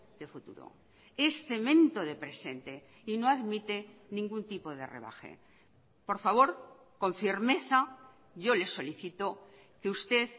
de futuro es cemento de presente y no admite ningún tipo de rebaje por favor con firmeza yo le solicito que usted